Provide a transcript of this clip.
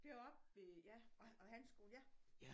Deroppe ved ja og og handelsskolen ja